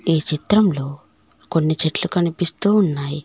ఈ చిత్రంలో కొన్ని చెట్లు కనిపిస్తూ ఉన్నాయి.